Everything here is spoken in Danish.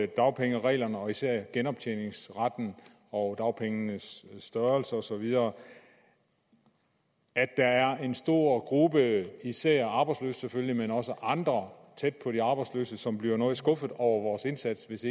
dagpengereglerne og især genoptjeningskravet og dagpengenes størrelse og så videre at der er en stor gruppe især arbejdsløse selvfølgelig men også andre tæt på de arbejdsløse som bliver noget skuffet over vores indsats hvis